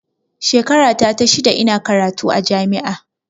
Shekara ta ta shida ina karatu a jami'a